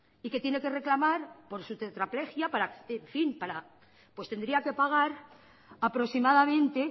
y que tiene que reclamar por su tetraplejia pues tendría que pagar aproximadamente